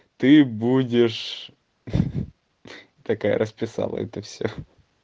ты будешь ха ха ха такая расписала это все